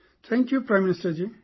Thank you Prime Minister Ji